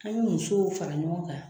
An be musow fara ɲɔgɔn kan